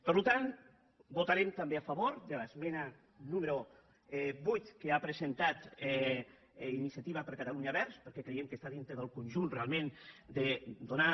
per tant votarem també a favor del punt número vuit que ha presentat iniciativa per catalunya verds perquè cre·iem que està dintre del conjunt realment de donar